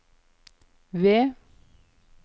V